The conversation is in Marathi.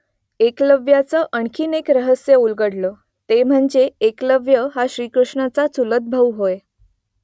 एकलव्याचं आणखी एक रहस्य उलगडतं , ते म्हणजे एकलव्य हा श्रीकृष्णाचा चुलतभाऊ होय